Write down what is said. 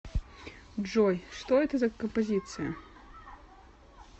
джой что это за композиция